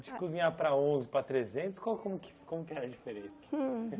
De cozinhar para onze, para trezentos, qual como que como que era a diferença?